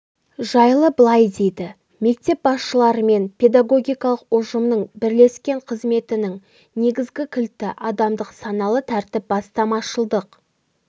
жайлы былай дейді мектеп басшыларымен педагогикалық ұжымның бірлескен қызметінің негізгі кілті адамдық саналы тәртіп бастамашылдық